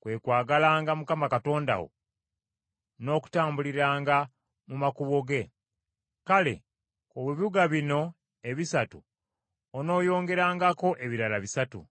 kwe kwagalanga Mukama Katonda wo, n’okutambuliranga mu makubo ge, kale ku bibuga bino ebisatu onooyongerangako ebirala bisatu.